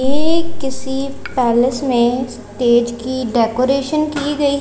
एक किसी पैलेस में स्टेज की डेकोरेशन की गई--